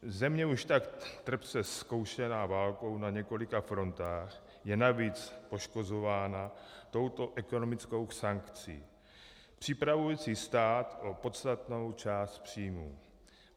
Země už tak trpce zkoušená válkou na několika frontách je navíc poškozována touto ekonomickou sankcí připravující stát o podstatnou část příjmů.